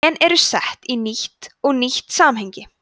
gen eru sett í nýtt og nýtt samhengi